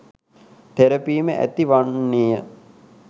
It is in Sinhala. තෙරපීම ඇති වන්නේය.